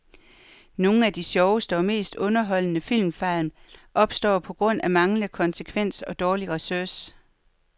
Nogle af de sjoveste og mest underholdende filmfejl opstår på grund af manglende konsekvens og dårlig research.